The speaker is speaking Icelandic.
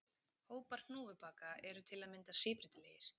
Hópar hnúfubaka eru til að mynda síbreytilegir.